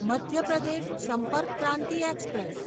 Madhya Pradesh Sampark Kranti express